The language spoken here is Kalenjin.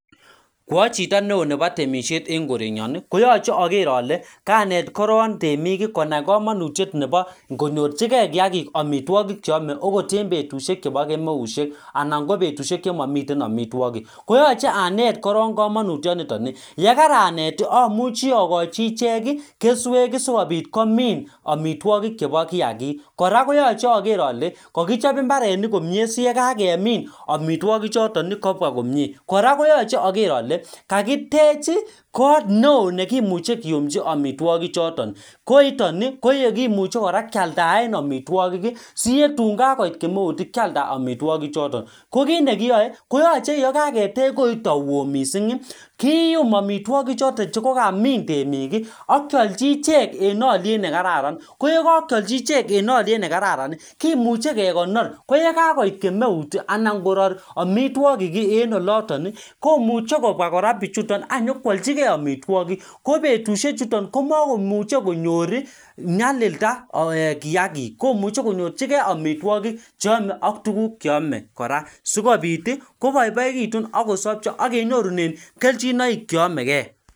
Ko ai chito neo nebo temishet eng' korenyon koyochei ager ale kanet koron temik konai kamanutiet nebo konyorchingein kiyakik omitwokik cheomei akot eng' betushek chebo kemeushiek anan ko betushek chemamiten omitwokik koyochei anet koron kamanutyionito yekaranet amuchi akochi icheg keswek sikobit komin omitwokik chebo kiyakik kora koyochei ager ale kakichob mbarenik komyee siyekakemin omitwokichoton kobwa komyee kora koyochei ager ale kakitech kot neo nekimuchi keyumji omitwokik choton koiton koyekimuchei kora kealdaen omitwokik siyetun kakoit kemeut kealdat omitwokik choton ko kiit nekiyoei koyochei yo kaketech koito oo mising' keyum omitwokik choton chekokamin temik akeolji iche eng' oliet nekararan ko yekakeolji ichek eng' oliet nekararan kemuchei kekonor ko yekakoit kemeut anan ngoror omitwokik eng' oloton komuchei kobwa kora biichuton akonyikwaljigei omitwokik ko betushiek chuto komakomuchei konyor nyalilda kiyakik komuchei konyorchingei omitwokik ak tuguk cheomei kora sikobit koboiboitun ako sobcho agenyorune keljinoik cheyomegei